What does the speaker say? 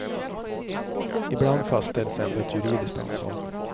Ibland fastställs ändå ett juridiskt ansvar.